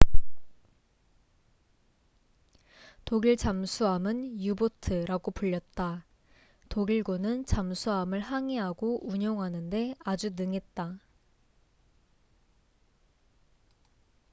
독일 잠수함은 유보트u-boat라고 불렸다. 독일군은 잠수함을 항해하고 운용하는데 아주 능했다